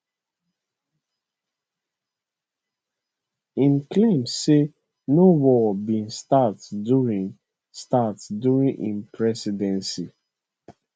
im claim say no war bin start during start during im presidency